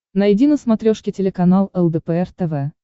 найди на смотрешке телеканал лдпр тв